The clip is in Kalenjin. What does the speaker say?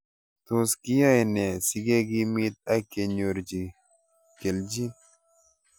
Tos kiyae nee sikekimit ak kenyorchi kelchin